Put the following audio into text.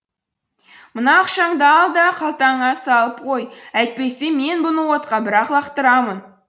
мына ақшаңды ал да қалтаңа салып қой әйтпесе мен бұны отқа бір ақ лақтырамын